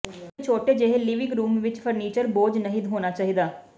ਇੱਕ ਛੋਟੇ ਜਿਹੇ ਲਿਵਿੰਗ ਰੂਮ ਵਿੱਚ ਫਰਨੀਚਰ ਬੋਝ ਨਹੀਂ ਹੋਣਾ ਚਾਹੀਦਾ